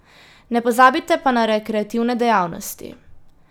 Ne pozabite pa na rekreativne dejavnosti.